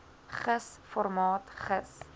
gis formaat gis